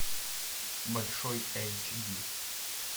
большой эйч ди